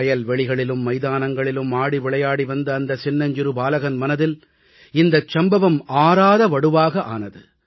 வயல் வெளிகளிலும் மைதானங்களிலும் ஆடிவிளையாடி வந்த அந்த சின்னஞ்சிறு பாலகன் மனதில் இந்தச் சம்பவம் ஆறாத வடுவாக ஆனது